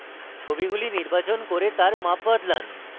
ছবিগুলি নির্বাচন করুন এবং তাদের মাপ বদলান